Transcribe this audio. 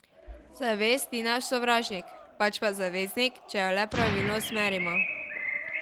Zavest ni naš sovražnik, pač pa zaveznik, če jo le pravilno usmerimo.